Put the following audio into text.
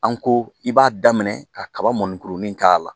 An ko i b'a daminɛ kaba mɔnikurunin k'a la